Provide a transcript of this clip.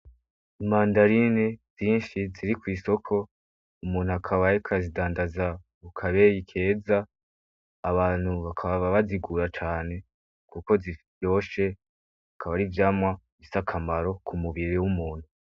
Imandarine zinshi ziri kw'isoko umuntu akabayeka zidandaza ukabeye keza abantu bakaba ba bazigura cane, kuko zifvyoshe akaba ari vyamwa isa akamaro ku mubiri w'umuntu.